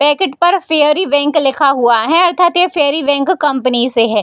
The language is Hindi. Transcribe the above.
पैकेट पर फेयरी बैंक लिखा हुआ है अर्थात ये फेरी बैंक कंपनी से हे।